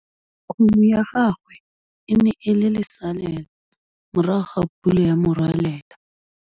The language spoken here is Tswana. Kgomo ya gagwe e ne e le lesalêla morago ga pula ya morwalela.